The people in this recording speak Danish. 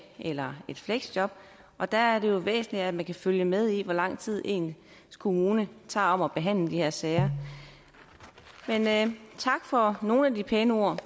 eller et fleksjob og der er det væsentligt at man kan følge med i hvor lang tid ens kommune er om at behandle de her sager men tak for nogle af de pæne ord